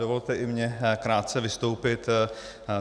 Dovolte i mně krátce vystoupit.